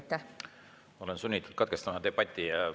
Ma olen sunnitud debati katkestama.